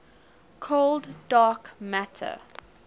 cold dark matter